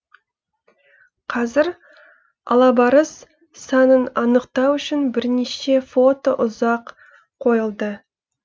қазір алабарыс санын анықтау үшін бірнеше фото ұзақ қойылды